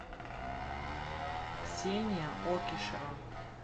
ксения окишева